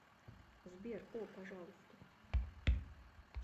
сбер о пожалуйста